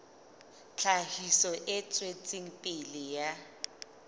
tlhahiso e tswetseng pele ya